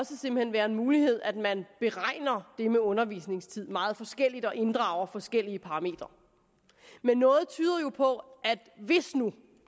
være en mulighed at man beregner det med undervisningstid meget forskelligt og inddrager forskellige parametre men noget tyder jo på hvis nu